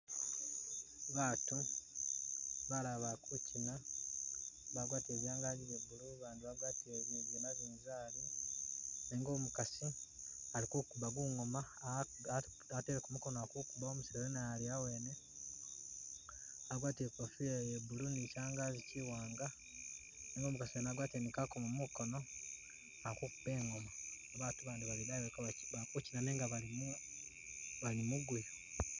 Batu balala bakukyiina bagwatile byangaji bya blue bandi bagwatile bi bya nabinzali nenga umukasi alikukuba gungoma a a ateleko mukono akukuba, umusele naye ali awene agwatile ikofila ya blue ni kyangazi kiwanga nenga umukasi wene agwatile ni kakomo mukono akukuba engoma, batu bandi bali idayi kabakyi bakukyiina nenga bali mu bali muguya